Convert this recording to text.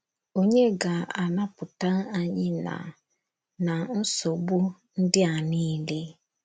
Ònye ga - anapụta anyị ná ná nsogbu ndị a niile?